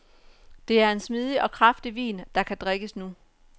Det er en smidig og kraftig vin, der kan drikkes nu.